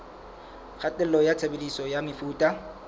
kgatello ya tshebediso ya mefuta